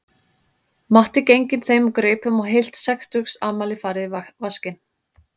Matti genginn þeim úr greipum og heilt sextugsafmæli farið í vaskinn